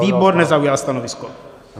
Výbor nezaujal stanovisko.